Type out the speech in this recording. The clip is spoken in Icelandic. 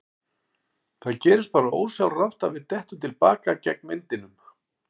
Það gerist bara ósjálfrátt að við dettum til baka gegn vindinum.